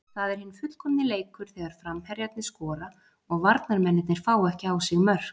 Það er hinn fullkomni leikur þegar framherjarnir skora og varnarmennirnir fá ekki á sig mörk.